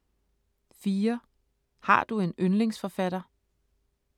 4) Har du en yndlingsforfatter?